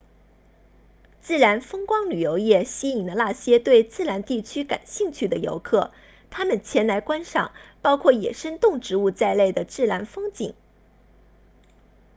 自然风光旅游业吸引了那些对自然地区感兴趣的游客他们前来观赏包括野生动植物在内的自然风景